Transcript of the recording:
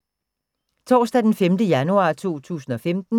Torsdag d. 15. januar 2015